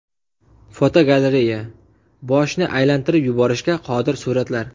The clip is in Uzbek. Fotogalereya: Boshni aylantirib yuborishga qodir suratlar.